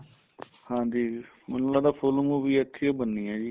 ਹਾਂਜੀ ਮੈਨੂੰ ਲੱਗਦਾ full movie ਇੱਥੇ ਈ ਓ ਬਣਨੀ ਏ ਜੀ